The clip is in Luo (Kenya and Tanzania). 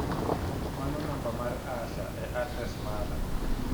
Mano namba mar Asha e adres mara.